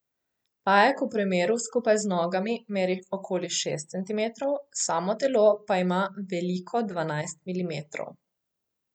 Pajek v premeru skupaj z nogami meri okoli šest centimetrov, samo telo pa ima veliko dvanajst milimetrov.